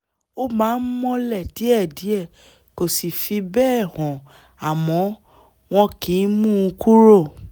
ó máa ń mọ́lẹ̀ díẹ̀díẹ̀ kò sì fi bẹ́ẹ̀ hàn àmọ́ wọn kìí mú un kúrò